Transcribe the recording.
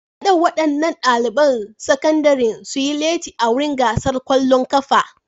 Kada waɗannan ɗaliban sakandaren su yi latti a wurin gasar ƙwallon ƙafa.